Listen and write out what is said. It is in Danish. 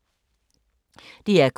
DR K